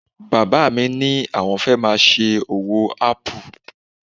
Bàbá mi ní àwọn fẹ́ máa ṣe owó ápù